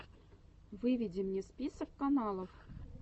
выведи мне список клипов